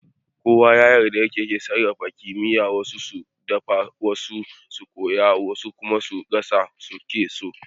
Kowa da yadda yake sarrafa kifi, wasu su dafa, wasu su soya, wasu kuma gassashe suke so.